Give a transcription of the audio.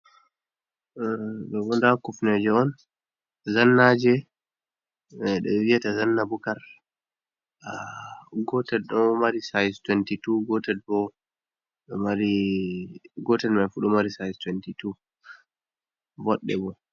Ɗo bo nda kufneje on zannaje, jei ɓe viyata zanna bukar, gotel ɗo mari sais 22, gotel man fu ɗo mari sais 22 voɗɗe bo.